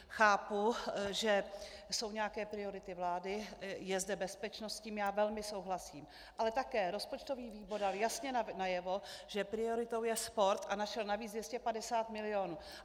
Chápu, že jsou nějaké priority vlády, je zde bezpečnost, s tím já velmi souhlasím, ale také rozpočtový výbor dal jasně najevo, že prioritou je sport, a našel navíc 250 mil.